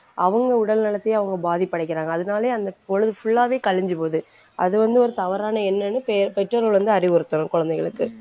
அவங்க உடல் நலத்தையும் அவங்க பாதிப்படைக்கிறாங்க. அதனாலேயே அந்த பொழுது full ஆவே கழிஞ்சு போகுது அது வந்து ஒரு தவறான எண்ணம்னு பெ~ பெற்றோர்கள் வந்து அறிவுறுத்தணும் குழந்தைங்களுக்கு